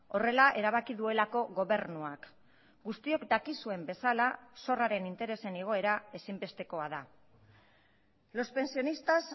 horrela erabaki duelako gobernuak guztiok dakizuen bezala zorraren interesen igoera ezinbestekoa da los pensionistas